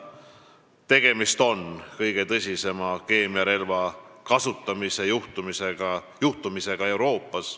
Tegemist on kõige tõsisema keemiarelva kasutamise juhtumiga Euroopas.